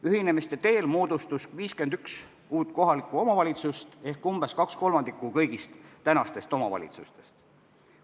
Ühinemiste teel moodustus 51 uut kohalikku omavalitsust ehk umbes 2/3 kõigist tänastest omavalitsustest.